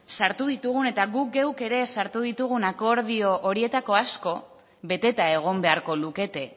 sartu ditugun eta guk geuk ere sartu ditugun akordio horietako asko beteta egon beharko lukete